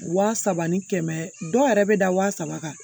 Wa saba ni kɛmɛ dɔw yɛrɛ bɛ da wa saba kan